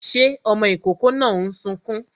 Ṣé ọmọ ìkókó náà ń sunkún?